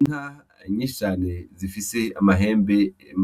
Inka nyinshi cane zifise amahembe